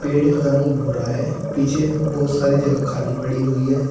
पेड़ का रंग भूरा है पीछे बहुत सारी जगह खाली पड़ी हुई है।